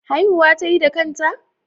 Haihuwa tayi da kanta?